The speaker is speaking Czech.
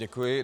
Děkuji.